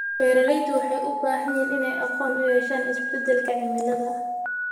Beeraleydu waxay u baahan yihiin inay aqoon u yeeshaan isbeddelka cimilada.